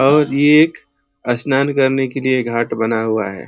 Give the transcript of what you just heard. और ये एक स्नान करने के लिए घाट बना हुआ है।